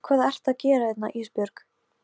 Hvað ertu að gera hérna Ísbjörg?